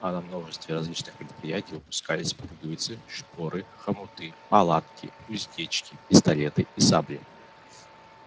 а на множестве различных предприятий выпускались пуговицы шпоры хомуты палатки уздечки пистолеты и сабли